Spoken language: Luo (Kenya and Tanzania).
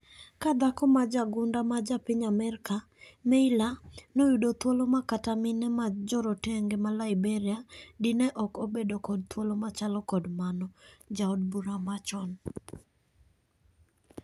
Ka dhako ma jaagunda ma japiny Amerka ,Meyler noyudo thuolo makata mine majorotenge ma Liberia di ne ok obedo kod thuolo machalo kod mano. Jaod bura machon.